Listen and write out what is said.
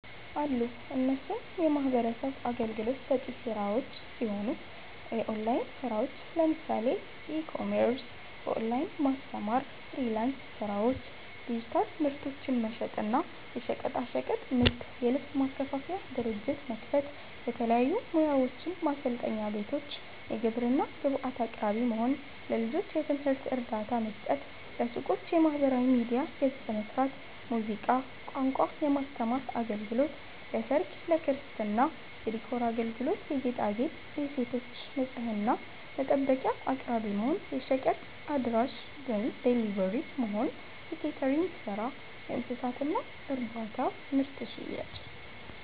አሉ እነሱም የሚህበረሰብ አገልግሎት ሰጪ ስራዎች ሲሆኑ፦ የኦላይን ስራዎች ለምሳሌ፦ ኢ-ኮሜርስ፣ በኦላይን ማስተማር፣ ፍሊራንስ ስራዎች፣ ዲጂታል ምርቶችን መሸጥ እና፣ የሸቀጣሸቀጥ ንግድ, የልብስ ማከፋፈያ ድርጅት መክፈት፣ የተለያዩ ሙያዎችን ማሰልጠኛ ቤቶች፣ የግብርና ግብአት አቅራቢ መሆን፣ ለልጆች የትምህርት እርዳታ መስጠት፣ ለሱቆች የማህበራዊ ሚዲያ ገፅ መስራት፣ ሙዚቃ፣ ቋንቋ የማስተማር አገልግሎት ለሰርግ፣ ለክርስትና የዲኮር አገልግሎት የጌጣጌጥ, የሴቶች ንፅህና መጠበቂያ አቅራቢ መሆን፣ የሸቀጥ አድራሺ(ደሊቨሪ)መሆን፣ የኬተሪንግ ስራ፣ የእንስሳት እርባታና ምርት ሽያጭ